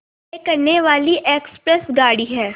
तय करने वाली एक्सप्रेस गाड़ी है